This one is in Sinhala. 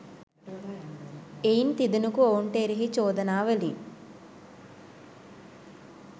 එයින් තිදෙනකු ඔවුන්ට එරෙහි චෝදනාවලින්